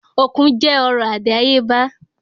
Òkun jẹ́ ọrọ̀ àdáyébá